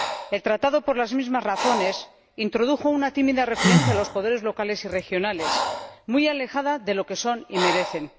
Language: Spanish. El Tratado, por las mismas razones, introdujo una tímida referencia a los poderes locales y regionales muy alejada de lo que son y merecen.